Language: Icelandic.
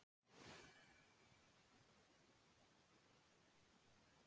Minnið hefur oft bjargað mér og mun vonandi koma þér til hjálpar.